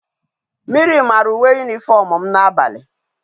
Mmiri mara uwe uniform m na abali